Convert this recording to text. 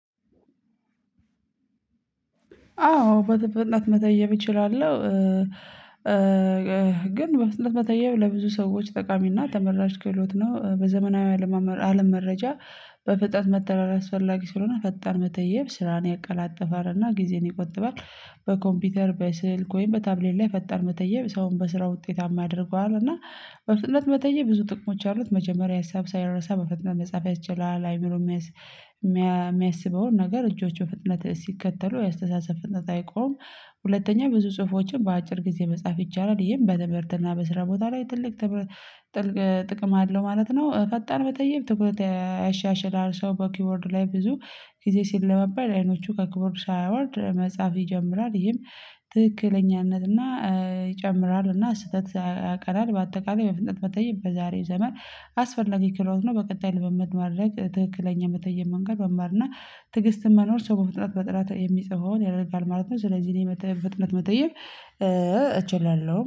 አዎ በጥ ፍጥነት መተየብ እችላለሁ። ግን በፍጥነት መተየብ ለብዙ ሰዎች ጠቃሚና ተመራጭ ክህሎት ነው በዘመናዊ አለም መረጃ በፍጥነት መተራረቅ አስፈላጊ ስለሆነ ፈጣን መተየብ ስራን ያቀላጥፋል እና ጊዜን ይቆጥባል። በኮምፒውተር በስልክ ወይም በታብሌት ላይ ፈጣን መተየብ ሰውን በስራ ውጤታማ ያደርገዋል እና በፍጥነት መተየብ ብዙ ጥቅሞች አሉት። መጀመሪያ ሀሳብ ሳይረሳ በፍጥነት መጽሐፍ ያስችላል አይምሮ የሚያስበውን ነገር እጆቹ ፍጥነት ሲከተሉ የአስተሳሰብ ፍጥነት አይቆምም። ሁለተኛ ብዙ ጽሁፎችን በአጭር ጊዜ መጻፍ ይቻላል ይህም በትምህርትና በስራ ቦታ ላይ ትልቅ ጥቅም አለው ማለት ነው። ፈጣን በጠየብ ትኩረት ያሻሽላል ሰው በኪቦርድ ላይ ብዙ ጊዜ ሲለባበል አይኖቹ ከኪቦርድ ሳያወርድ መጽሐፍ ይጀምራል ይሄም ትክክለኛነትና ይጨምራልና ስህተት ያቀራል። በአጠቃላይ በፍጥነት መተየብ በዛሬ ዘመን አስፈላጊ ክሎት ነው። በቀጣይ ልምምድ ማድረግ ትክክለኛ የምትተይም መንገድ መማር እና ትግስትን መኖር ሰው በጥራት የሚጽፈውን ያረጋግጣል ማለት ነው። ስለዚህ እኔ ፍጥነት መጠየብ እችላለሁ